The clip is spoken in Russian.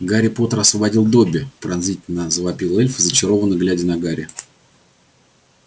гарри поттер освободил добби пронзительно завопил эльф зачарованно глядя на гарри